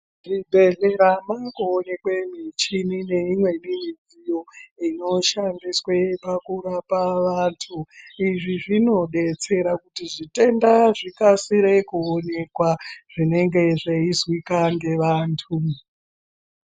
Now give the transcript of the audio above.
Muzvibhedhlera mongooneka michini neimweni midziyo inoshandiswa pakurape vantu. Izvi zvinodetsera kuti zvitenda zvikasire kuonekwa zvinenge zveizwikwa ngevantu.